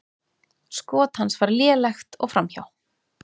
Skot hans var lélegt og framhjá.